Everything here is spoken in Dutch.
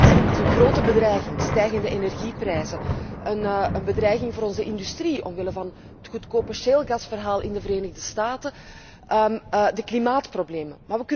Wij zouden dat kunnen zien als een grote bedreiging stijgende energieprijzen, een bedreiging van onze industrie omwille van het goedkope schaliegasverhaal in de Verenigde Staten, de klimaatproblemen.